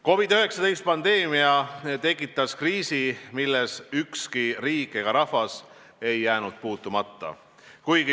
COVID-19 pandeemia tekitas kriisi, milles ükski riik ega rahvas ei ole jäänud puutumata.